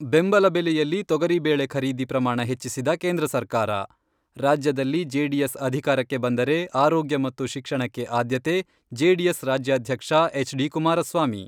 ಬೆಂಬಲ ಬೆಲೆಯಲ್ಲಿ ತೊಗರಿಬೇಳೆ ಖರೀದಿ ಪ್ರಮಾಣ ಹೆಚ್ಚಿಸಿದ ಕೇಂದ್ರ ಸರ್ಕಾರ ರಾಜ್ಯದಲ್ಲಿ ಜೆಡಿಎಸ್ ಅಧಿಕಾರಕ್ಕೆ ಬಂದರೆ ಆರೋಗ್ಯ ಮತ್ತು ಶಿಕ್ಷಣಕ್ಕೆ ಆದ್ಯತೆ, ಜೆಡಿಎಸ್ ರಾಜ್ಯಾಧ್ಯಕ್ಷ ಎಚ್.ಡಿ. ಕುಮಾರಸ್ವಾಮಿ.